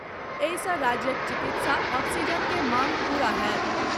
एहि सँ राज्यक चिकित्सा ऑक्सीजन के मांग पूरा होयत।